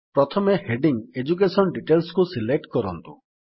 ପ୍ରଥମେ heading education Detailsକୁ select କରନ୍ତୁ